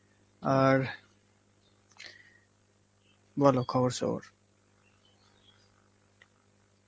আর বল খবর-সবর.